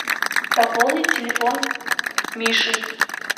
пополнить телефон миши